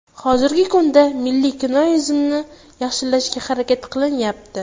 Hozirgi kunda milliy kinoimizni yaxshilashga harakat qilinyapti.